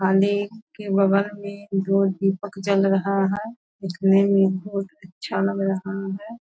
के बगल में जो दीपक जल रहा है | उस मे यह बहुत अच्छा लग रहा है |